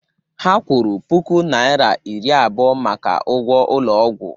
Ha kwụrụ puku naira iri abụọ maka ụgwọ ụlọ ọgwụ